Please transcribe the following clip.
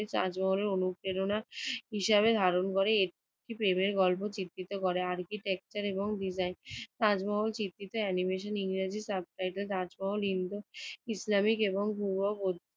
তাজমহলের অনুপ্রেরণা হিসেবে ধারণ করে একটি প্রেমের গল্প চিত্রিত করে। architecture এবং design তাজমহল স্বীকৃত animation ইংরেজি subtitle তাজমহল ইন্দু ইসলামিক এবং পূর্ববর্তী